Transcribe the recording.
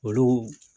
Olu